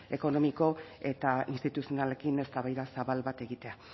sozioekonomiko eta instituzionalekin eztabaida zabal bat egitea